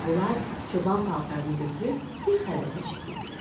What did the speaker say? Bunlar çoban paltarını götürüb bir xəlvətə çəkildilər.